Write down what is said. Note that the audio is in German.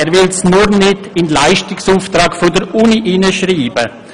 Er will sie nur nicht in den Leistungsauftrag der Universität hineinschreiben.